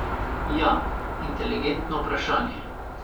Ja, inteligentno vprašanje.